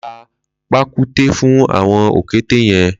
Lò tà pàkúté fùn awọn ókété yẹ̀n